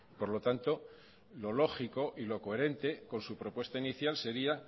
por lo tanto lo lógico y lo coherente con su propuesta inicial sería